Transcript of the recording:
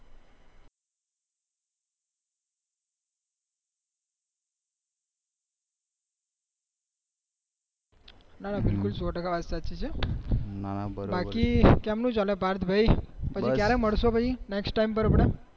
ના ના બિલકુલ વાત સો ટકા છે બાકી કેમનું ચાકે પાર્થભાઈ ક્યારે મળશે પછી નેક્ષ્ત ટાઇમ પર